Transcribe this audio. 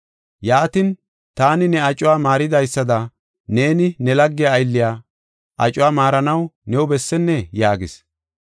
Yaatin, taani ne acuwa maaridaysada neeni ne lagge aylliya acuwa maaranaw new bessennee?’ yaagis.